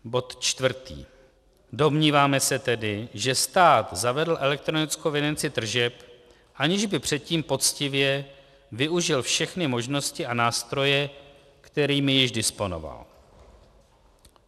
Domníváme se tedy, že stát zavedl elektronickou evidenci tržeb, aniž by předtím poctivě využil všechny možnosti a nástroje, kterými již disponoval.